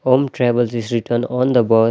Om travels is written on the bu --